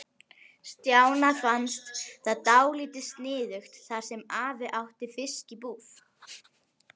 Stjána fannst það dálítið sniðugt þar sem afi átti fiskbúð.